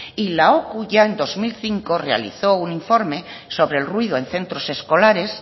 y la ocu ya en dos mil cinco realizó un informe sobre el ruido en centros escolares